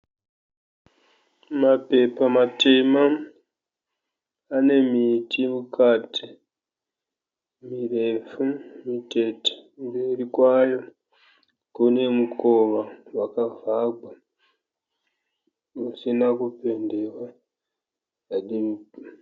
Mapepa matema ane miti mukati mirefu mitete. Mberi kwayo kune mukowa wakavhagwa usina kupendewa.